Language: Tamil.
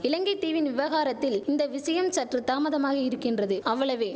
இலங்கை தீவின் விவகாரத்தில் இந்த விஷயம் சற்று தாமதமாகியிருக்கின்றது அவ்வளவே